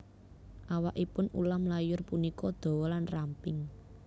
Awakipun ulam layur punika dawa lan ramping